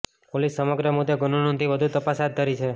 police સમગ્ર મુદ્દે ગુનો નોંધી વધુ તપાસ હાથ ધરી છે